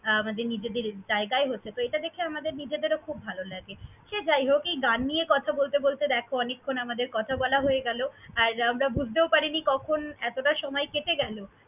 আ~ আমাদের নিজেদের জায়গায় হচ্ছে তো এটা দেখে আমাদের নিজেদেরও খুব ভালো লাগে। সে যাই হোক, এই গান নিয়ে কথা বলতে বলতে দ্যাখো অনেকক্ষণ আমাদের কথা বলা হয়ে গেল। আর আমরা বুঝতেও পারিনি কখন এতটা সময় কেটে গেল।